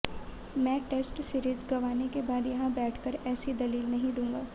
मैं test series गंवाने के बाद यहां बैठ कर ऐसी दलील नहीं दूंगा